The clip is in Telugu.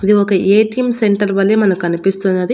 ఇది ఒక ఏ_టీ_ఎమ్ సెంటర్ వలె మనకి కనిపిస్తున్నది.